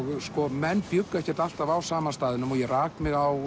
menn bjuggu ekkert alltaf á sama staðnum ég rak mig á